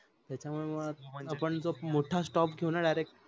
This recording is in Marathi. त्याच्या मुळे मग आपण खूप मोठा stop घेवू न direct